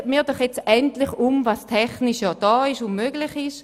Setzen wir doch endlich um, was technisch möglich ist.